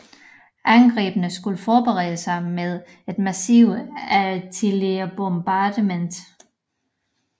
Angrebene skulle forberedes med et massivt artilleribombardement